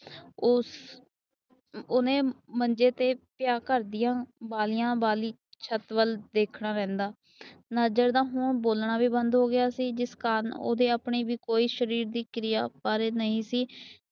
ਉਸ ਉਹਨੇ ਮੰਜੇ ਤੇ ਪਿਆ ਘਰ ਦੀਆ ਬਾਲਿਆਂ ਵਾਲੀ ਛੱਤ ਵੱਲ ਦੇਖਦਾ ਰਹਿੰਦਾ। ਨਾਜਰ ਦਾ ਹੁਣ ਬੋਲਣਾ ਵੀ ਬੰਦ ਹੋ ਗਿਆ ਸੀ। ਜਿਸ ਕਾਰਨ ਉਸਦੇ ਆਪਣੇ ਸ਼ਰੀਰ ਦੀ ਕੋਈ ਕਿਰਿਆ ਫਲ ਨਹੀਂ ਸੀ